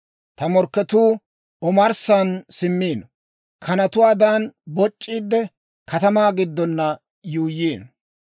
Ta morkketuu omarssan simmiino; kanatuwaadan boc'c'iidde, katamaa giddon yuuyyiino.